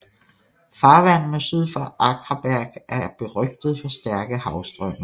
Farvandene syd for Akraberg er er berygtede for stærke havstrømme